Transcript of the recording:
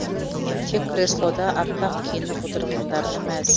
тек креслода аппақ киініп отырғандарына мәз